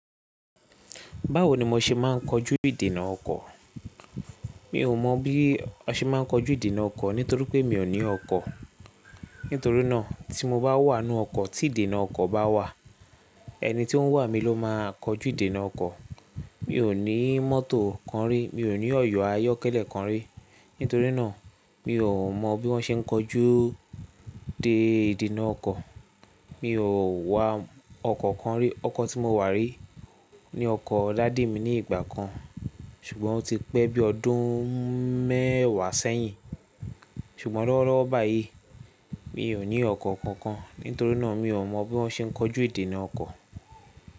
Báwo ni mo ṣe máa ń kojú ìdènà ọkọ̀? Mi ò mọ bí a ṣe máa ń kojú ìdènà ọkọ̀ nítorí pé mi ò ní ọkọ̀. Nítorí naà tí mo bá wà nínú ọkọ̀ tí ìdènà ọkọ̀ bá wà, ẹni tí ó ń wà mí ló máa kojú ìdènà ọkọ̀. Mi ò ní mọ́tò kan rí, mi ò ní Ọ̀yọ́ ayọ́kẹ́lẹ́ kan rí. Nítorí nàa mi ò mọ bí wọ́n ṣe ń kojú de ìdènà ọkọ̀. Mi ò wa ọkọ̀ kan rí. Ọkọ̀ tí mo wà rí ni ọkọ̀ daddy mi ní ìgbà kan, ṣùgbọ́n ó ti pẹ́ bíi ọdún mẹ́wàá sẹ́yìn. Ṣùgbọ́n lọ́wọ́lọ́wọ́ báyìí mi ò ní ọkọ̀ kankan. Nítorínà mi ò mọ bí wọ́n ṣe ń kojú ìdènà ọkọ̀.